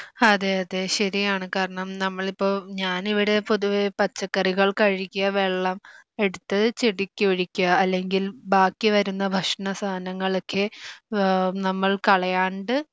അതെ അത് ശരിയാണ് കാരണം നമ്മളിപ്പോ ഞാനിവിടെ പൊതുവേ പച്ചക്കറികൾ കഴുകിയ വെള്ളം എടുത്ത് ചെടിക്ക് ഒഴിക്കാ അല്ലെങ്കിൽ ബാക്കി വരുന്ന ഭക്ഷണ സാധനങ്ങളൊക്കെ ഏഹ് നമ്മൾ കളയണ്ട്